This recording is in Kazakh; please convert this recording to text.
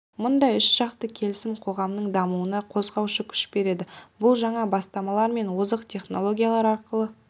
мұндай үш жақты келісім қоғамның дамуына қозғаушы күш береді бұл жаңа бастамалар мен озық технологиялар арқылы